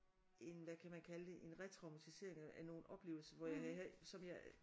En hvad kan man kalde det en retraumatisering af nogle oplevelser hvor jeg havde som jeg